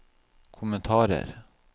kommentarer